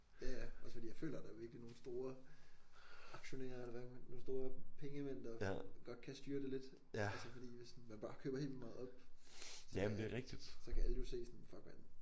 Ja ja også fordi jeg føler der er virkelig nogle store aktionærer eller hvad man nogle store pengemænd der godt kan styre det lidt altså fordi hvis man bare køber helt vildt meget op så så kan alle jo se sådan fuck mand